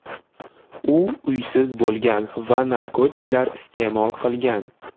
U uysiz bo‘lgan va narkotiklar iste’mol qilgan.